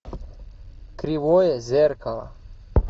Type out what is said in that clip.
кривое зеркало